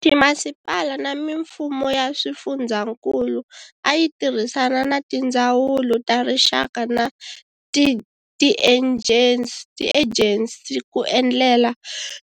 Timasipala na mimfumo ya swifundzankulu a yi tirhisana na tindzawulo ta rixaka na tiejensi ku endlela